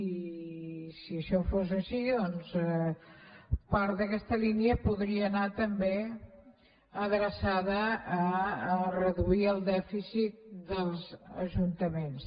i si això fos així doncs part d’aquesta línia podria anar també adreçada a reduir el dèficit dels ajuntaments